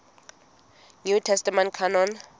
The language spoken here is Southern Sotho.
new testament canon